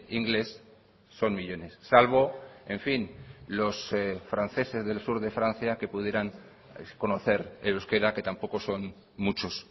inglés son millónes salvo en fin los franceses del sur de francia que pudieran conocer el euskera que tampoco son muchos